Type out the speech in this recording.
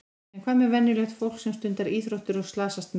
En hvað með venjulegt fólk sem stundar íþróttir og slasast minna?